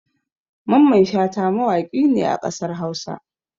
Mamman Shata mawaƙi ne a ƙasar Hausa